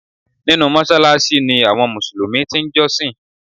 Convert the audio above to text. Nínú Mósáláásí ni àwọn Mùsùlùmí ti n jọ́sìn